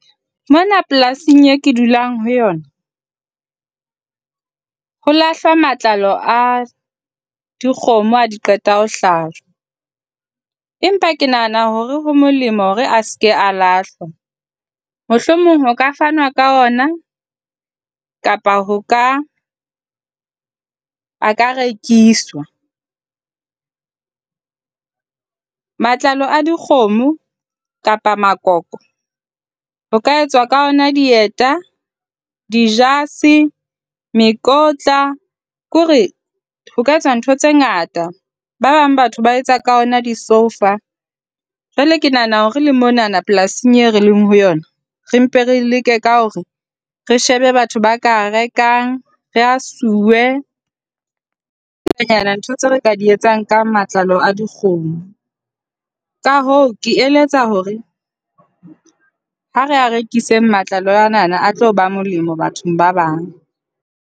Mona polasing eo ke dulang ho yona ho lahlwa matlalo a dikgomo ha di qeta ho hlwajwa. Empa ke nahana hore ho molemo hore a se ke a lahlwa. Mohlomong ho ka fanwa ka ona kapa ho ka a ka rekiswa. Matlalo a dikgomo kapa makoko ho ka etswa ka ona dieta, dijase, mekotla. Ke hore ho ka etswa ntho tse ngata. Ba bang batho ba etsa ka ona disoufa. Jwale ke nahana hore le monana polasing eo re leng ho yona re mpe re leke ka hore re shebe batho ba ka a rekang. Re a suwe. Di ngatanyana dintho tseo re ka di etsang ka matlalo a dikgomo. Ka hoo, ke eletsa hore ha re a rekiseng matlalo ana, a tlo ba molemo bathong ba bang.